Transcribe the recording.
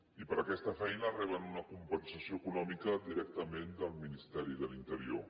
i per aquesta feina reben una compensació econòmica directament del ministeri de l’interior